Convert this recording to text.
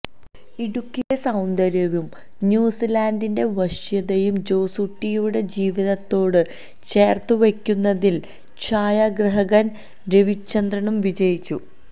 ഇടുക്കിയിലെ സൌന്ദര്യവും ന്യൂസിലാന്റിന്റെ വശ്യതയും ജോസൂട്ടിയുടെ ജീവിതത്തോട് ചേര്ത്തുവയ്ക്കുന്നതില് ഛായാഗ്രഹകന് രവിചന്ദ്രനും വിജയിച്ചു